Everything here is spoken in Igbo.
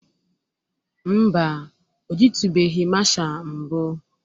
Mba, o jitubeghi masha mbụ.